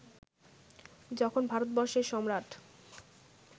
যখন ভারতবর্ষের সম্রাট